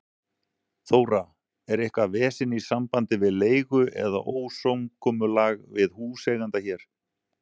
Þóra: Er eitthvað vesen í sambandi við leigu eða ósamkomulag við húseiganda hér?